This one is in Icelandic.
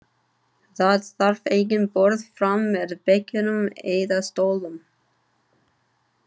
Þar þarf engin borð fram með bekkjum eða stólum.